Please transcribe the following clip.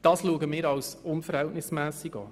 Das ist für uns unverhältnismässig.